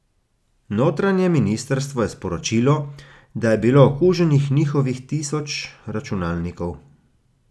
Notranje ministrstvo je sporočilo, da je bilo okuženih njihovih tisoč računalnikov.